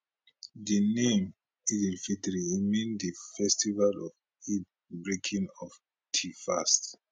di name eid alfitr e mean di festival of di breaking of di fast